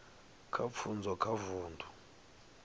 kha pfunzo kha vundu